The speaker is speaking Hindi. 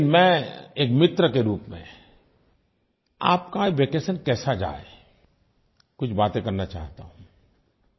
लेकिन मैं एक मित्र के रूप में आपका वैकेशन कैसा जाए कुछ बातें करना चाहता हूँ